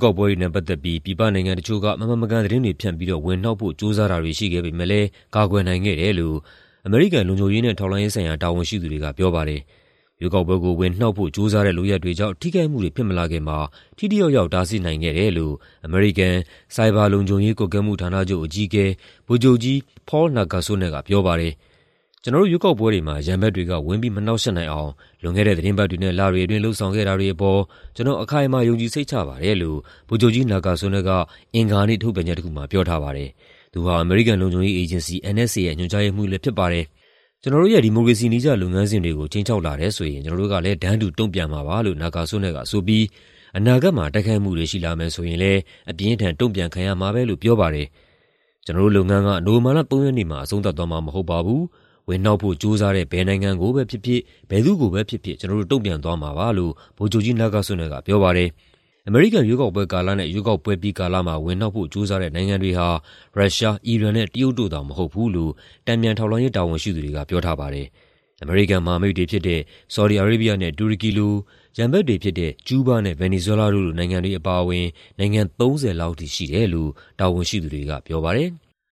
ကောက်ပွဲတွေနဲ့ ပတ်သက်ပြီး ပြည်ပနိုင်ငံတချို့က မမှန်မကန်သတင်းတွေဖြန့်ပြီးတော့ ဝင်နှောက်ဖို့ ကြိုးစားတာတွေ ရှိခဲ့ပေမဲ့လည်း ကာကွယ်နိုင်ခဲ့တယ်လို့ အမေရိကန် လုံခြုံရေးနဲ့ ထောက်လှမ်းရေးဆိုင်ရာ တာဝန်ရှိသူတွေကပြောပါတယ်။ ရွေးကောက်ပွဲကို ဝင်နှောက်ဖို့ ကြိုးစားတဲ့လုပ်ရပ်တွေကြောင့် ထိခိုက်မှုတွေဖြစ်မလာခင်မှာ ထိထိရောက်ရောက် တားဆီးနိုင်ခဲ့တယ်လို့ အမေရိကန်၊ ဆိုင်ဘာလုံခြုံရေးကွပ်ကဲမှုဌာနချုပ် အကြီးအကဲ ဗိုလ်ချုပ်ကြီး Paul Nakasone ကပြောပါတယ်။ "ကျနော်တို့ ရွေးကောက်ပွဲတွေမှာ ရန်ဘက်တွေက ဝင်ပြီး မနှောက်ယှက်နိုင်အောင် လွန်ခဲ့တဲ့ သီတင်းပတ်တွေနဲ့ လတွေအတွင်း လုပ်ဆောင်ခဲ့တာတွေအပေါ် ကျနော် အခိုင်အမာ ယုံကြည်စိတ်ချပါတယ်။" လို့ ဗိုလ်ချုပ်ကြီး Nakasone က အင်္ဂါနေ့ ထုတ်ပြန်ချက်တခုမှာ ပြောထားပါတယ်။ သူဟာ အမေရိကန် လုံခြုံရေးအေဂျင်စီ NSA ရဲ့ ညွှန်ကြားရေးမှူးလည်းဖြစ်ပါတယ်။ "ကျနော်တို့ရဲ့ ဒီမိုကရေစီနည်းကျ လုပ်ငန်းစဉ်တွေကို ခြိမ်းခြောက်လာတယ်ဆိုရင် ကျနော်တို့ကလည်း တန်းတူတုံ့ပြန်မှာပါ" လို့ Nakasone ကဆိုပြီး အနာဂတ်မှာ တိုက်ခိုက်မှုတွေ ရှိလာမယ်ဆိုရင်လည်း အပြင်းအထန် တုံ့ပြန်ခံရမှာပဲလို့ ပြောပါတယ်။ "ကျနော်တို့လုပ်ငန်းက နိုဝင်ဘာလ ၃ ရက်နေ့မှာ အဆုံးသတ်သွားမှာ မဟုတ်ပါဘူး၊ ဝင်နှောက်ဖို့ ကြိုးစားတဲ့ ဘယ်နိုင်ငံကိုပဲဖြစ်ဖြစ်၊ ဘယ်သူ့ကိုပဲဖြစ်ဖြစ် ကျနော်တို့ တုံ့ပြန်သွားမှာပါ။" လို့ Nakasone ကပြောပါတယ်။ အမေရိကန်ရွေးကောက်ပွဲကာလနဲ့ ရွေးကောက်ပွဲပြီးကာလမှာ ဝင်နှောက်ဖို့ ကြိုးစားတဲ့နိုင်ငံတွေဟာ ရုရှား၊ အီရန်နဲ့ တရုတ်တို့သာ မဟုတ်ဘူးလို့ တန်ပြန်ထောက်လှမ်းရေး တာဝန်ရှိသူတွေကပြောပါတယ်။ အမေရိကန်မဟာမိတ်တွေဖြစ်တဲ့ ဆော်ဒီအာရေးဘီးယားနဲ့ တူရကီလို၊ ရန်ဘက်တွေဖြစ်တဲ့ ကျူးဘားနဲ့ ဗင်နီဇွဲလားတို့လို နိုင်ငံတွေအပါအဝင် နိုင်ငံ ၃၀ လောက်အထိ ရှိတယ်လို့ တာဝန်ရှိသူတွေကပြောပါတယ်။